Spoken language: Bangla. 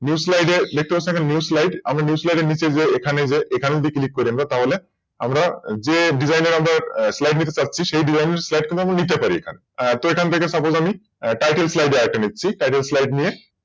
New slide এ লেখা আছে দেখুন New slide আমি New slide এর নিচে যে এখানে যে এখানে যদি Click করি আমরা তাহলে যে Design এর আমরা Slide নিতে চাচ্ছি সেই Slide টা নিতে পারি এখানে এখান থেকে Suppose আমি Titel slide আরেকটা নিচ্ছি Titel slide নিয়ে